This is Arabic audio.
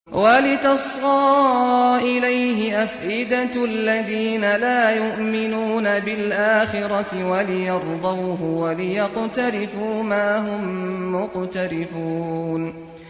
وَلِتَصْغَىٰ إِلَيْهِ أَفْئِدَةُ الَّذِينَ لَا يُؤْمِنُونَ بِالْآخِرَةِ وَلِيَرْضَوْهُ وَلِيَقْتَرِفُوا مَا هُم مُّقْتَرِفُونَ